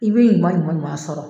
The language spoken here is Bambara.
I bɛ ɲuman ɲuman ɲuman sɔrɔ.